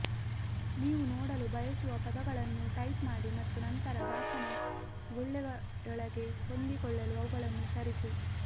ನೀವು ನೋಡಲು ಬಯಸುವ ಪದಗಳನ್ನು ಟೈಪ್ ಮಾಡಿ ಮತ್ತು ನಂತರ ಭಾಷಣ ಗುಳ್ಳೆಯೊಳಗೆ ಹೊಂದಿಕೊಳ್ಳಲು ಅವುಗಳನ್ನು ಸರಿಸಿ